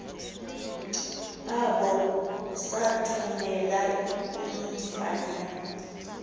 abo sathumela umfana